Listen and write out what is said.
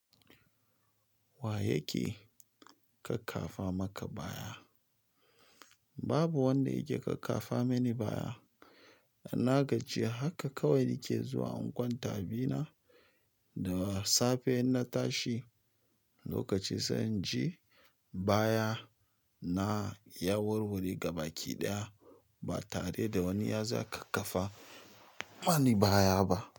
Wa yake kakkafa maka baya? Babu wanda yake kakkafa mun baya na gaji haka kawai nake zuwa in kwanta a bina da safe in na tashi lokaci sanyin ji. Baya na ya wurgur ga baki ɗaya ba tare da wani ya za kakkafa mani baya ba.